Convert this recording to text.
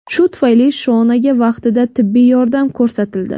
Shu tufayli Shonaga vaqtida tibbiy yordam ko‘rsatildi.